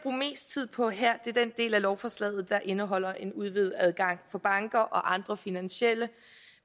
tid på her er den del af lovforslaget der indeholder en udvidet adgang for banker og andre finansielle